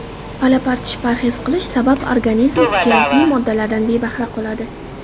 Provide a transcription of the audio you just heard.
Palapartish parhez qilish sabab organizm kerakli moddalardan bebahra qoladi.